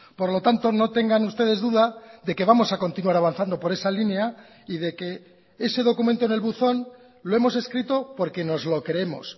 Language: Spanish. por lo tanto no tengan ustedes duda de que vamos a continuar avanzando por esa línea y de que ese documento en el buzón lo hemos escrito porque nos lo creemos